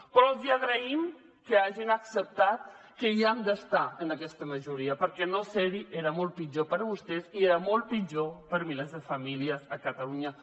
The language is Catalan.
però els agraïm que hagin acceptat que hi han d’estar en aquesta majoria perquè no ser hi era molt pitjor per a vostès i molt pitjor per a milers de famílies a catalunya